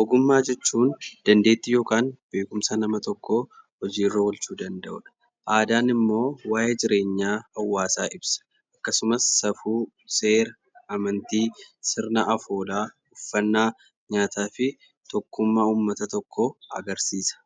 Ogummaa jechuun dandeettii yookaan beekumsa hojiirra oolchuu danda'uudha. Aadaan immoo waa'ee jireenya hawwaasaa ibsa. Akkasumas safuu, seera, amantii, sirna afoolaa, uffannaa, nyaataa fi tokkummaa uummata tokkoo agarsiisa.